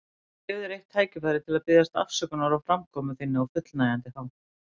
Ég gef þér eitt tækifæri til að biðjast afsökunar á framkomu þinni á fullnægjandi hátt.